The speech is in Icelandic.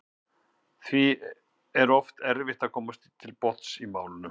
Því er oft erfitt að komast til botns í málinu.